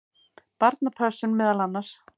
Barnapössun meðal annars.